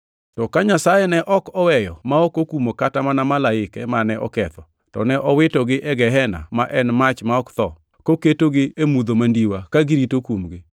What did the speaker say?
To ka Nyasaye ne ok oweyo ma ok okumo kata mana malaike mane oketho, to ne owitogi e gehena ma en mach ma ok tho, koketogi e mudho mandiwa ka girito kumgi;